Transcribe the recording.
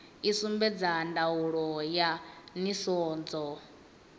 i sumbedza ndaulo ya nisedzo